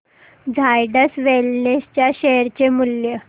Zydus Wellness च्या share चे मूल्य